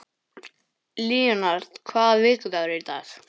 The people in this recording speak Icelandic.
Leonhard, hvaða vikudagur er í dag?